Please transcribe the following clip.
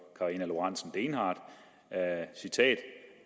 karina lorentzen dehnhardt